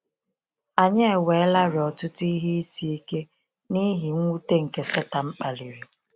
Anyị eweelarị ọtụtụ ihe isi ike n’ihi mwute nke Setan kpaliri.